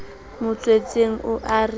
mo tswetseng o a re